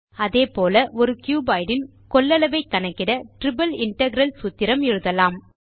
அதே போல ஒரு கியூபாய்ட் இன் கொள்ளளவை கணக்கிட டிரிப்பிள் இன்டெக்ரல் சூத்திரம் எழுதலாம்